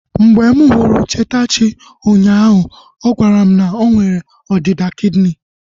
Mgbe m hụrụ Chetachi unyaahu, ọ gwara m na nwela ọdịda kidini